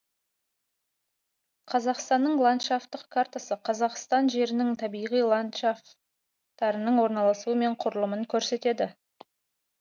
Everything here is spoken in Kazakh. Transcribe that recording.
қазақстанның ландшафтық картасы қазақстан жерінің табиғи ландшафтарының орналасуы мен құрылымын көрсетеді